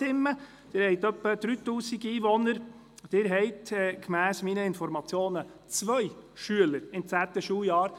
Sie haben etwa 3000 Einwohner, und gemäss meinen Informationen befinden sich zwei Schüler im zehnten Schuljahr.